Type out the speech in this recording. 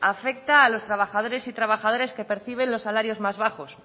afecta a los trabajadores y trabajadoras que perciben los salarios más bajos